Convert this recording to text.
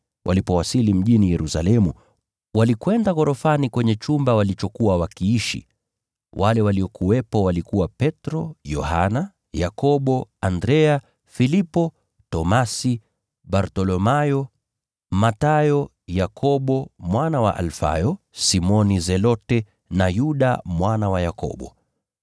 Walipowasili mjini Yerusalemu, walikwenda ghorofani kwenye chumba walichokuwa wakiishi. Wale waliokuwepo walikuwa: Petro, Yohana, Yakobo, Andrea, Filipo, Tomaso, Bartholomayo, Mathayo, Yakobo mwana wa Alfayo, Simoni Zelote na Yuda mwana wa Yakobo.